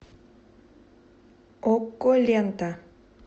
окко лента